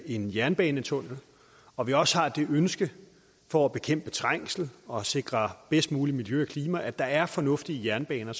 en jernbanetunnel og vi også har det ønske for at bekæmpe trængsel og sikre bedst muligt miljø og klima at der er fornuftige jernbaner